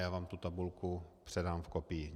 Já vám tu tabulku předám v kopii.